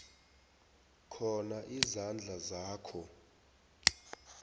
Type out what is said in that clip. khona izandla zakho